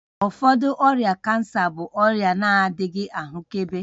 Ụfọdụ ọrịa cancer bụ ọrịa na-adịghị ahụkebe